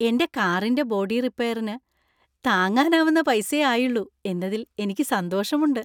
എന്‍റെ കാറിന്‍റെ ബോഡി റിപ്പയറിനു താങ്ങാനാവുന്ന പൈസയെ ആയുള്ളൂ എന്നതിൽ എനിക്ക് സന്തോഷമുണ്ട്.